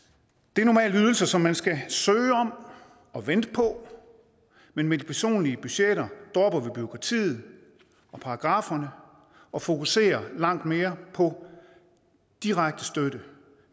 det er normalt ydelser som man skal søge om og vente på men med de personlige budgetter dropper vi bureaukratiet og paragrafferne og fokuserer langt mere på direkte støtte